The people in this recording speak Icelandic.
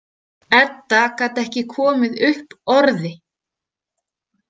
Edda gat ekki komið upp orði.